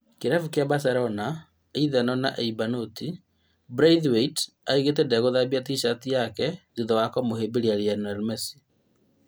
Kĩrabu kĩa Barcelona ithano na Eibar noti, Braithwaite oigĩte ndegũthambia T-cati take thutha wa kũmũhĩmbĩria Lionel Messi